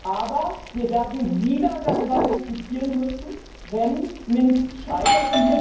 Aber wir werden wieder darüber diskutieren müssen, wenn Minsk scheitert.